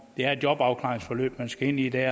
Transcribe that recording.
det er et jobafklaringsforløb man skal ind i der